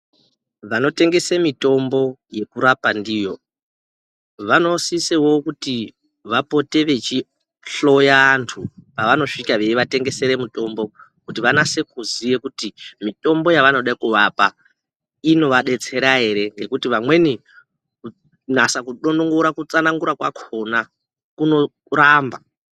Vanotengese mitombo yekurapa ndiyo vanosisewo kuti vapote vechihloya vantu vavanosvika vechitengesere mitombo kuti vanyatsokuziva kuti mitombo yavanoda kuvapa inovabetsera here ngekuti vamweni kunyatsa kutsanangura kudonongora kwakona kurikuramba.